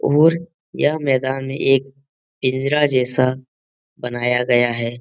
और यह मैदान में एक पिंजरा जैसा बनाया गया है।